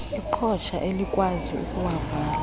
iqhosha elikwazi ukuwavala